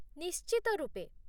ନିଶ୍ଚିତ ରୂପେ।